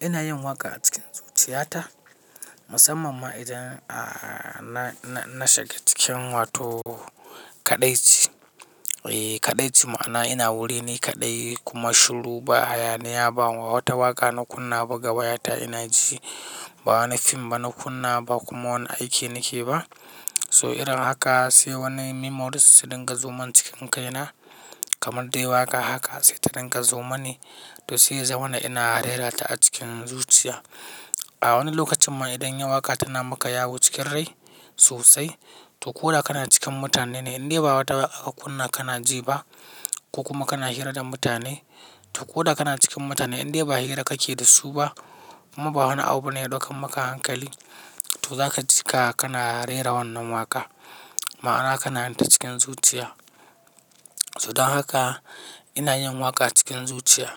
Ina yin waƙa a cikin zuciya ta, musamman ma idan na shiga cikin wato kaɗaici. Kaɗaici ma'ana ina wuri ni kaɗai kuma shiru ba haya ba. Wata waƙa na kunna ba ga baya ta ina ji, ba wani fim ba na kunna ba kuma wani aiki nake ba. Toh idan haka, sai wani memories su dinga zoman cikin kaina, kamar dai waƙa haka sai ta dinga zoma ni. Toh sai ya zama ina rera ta a cikin zuciya. A wani lokacin ma idan waƙa tana maka yawo cikin rai sosai, toh ko da kana cikin mutane ne indai ba wata aka kunna kana ji ba. Ko kuma kana hira da mutane, toh ko da kana cikin mutane indai ba hira kake da su ba. Kuma ba wani abu ne yake maka hankali, toh zaka ji ka kana rera wannan waƙa ma'ana kana yin ta cikin zuciya. Toh don haka, ina yin waƙa cikin zuciya.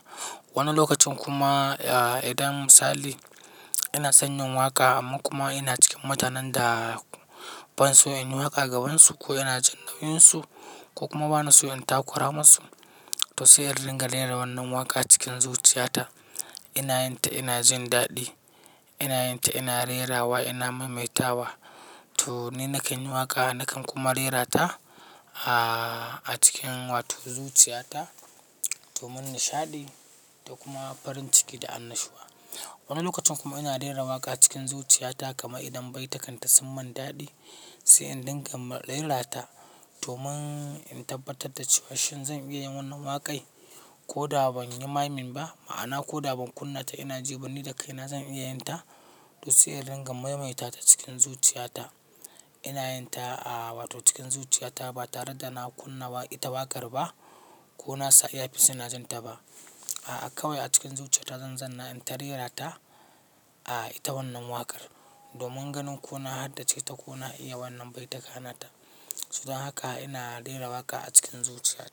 Wani lokacin kuma idan misali ina son yin waƙa amma kuma ina cikin mutanen da ban so in yi waƙa gabansu ko ina jin nauyinsu. Ko kuma bana so in takura masu, toh sai in ringa rera wannan waƙa cikin zuciya ta. Ina yin ta ina jin daɗi, ina yin ta ina rerawa ina maimaita wa. Toh ni na kan yi waƙa, na kan kuma rera ta a cikin wato zuciya ta domin nishaɗi da kuma farin ciki da annashuwa. Wani lokacin kuma ina rera waƙa cikin zuciya ta kama idan baitakanta sun mantaɗi, sai in dinga rera ta domin in tabbatar da cewar shin zan iya yin wannan waƙai. Ko da ban yi maiming ba ma'ana ko da ban kunna ta ina ji ba ni da kaina zan iya yin ta. Toh sai in dinga maimaita ta cikin zuciya ta. Ina yin ta a wato cikin zuciya ta ba tare da na kunna ita waƙar ba ko nasa earpiece suna jin ta ba. A'a kawai a cikin zuciya ta zan zanna in rera ta, a ita wannan waƙar, domin ganin ko na haddace ta ko na iya wannan baituka na ta. So don haka ina rera waƙa a cikin zuciya ta.